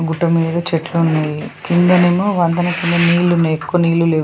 గుట్ట మీద చెట్లు ఉన్నాయి కిందనేమో వంతెన కింద నీళ్లు ఉన్నాయి ఎక్కువ నీళ్ళు లేవు.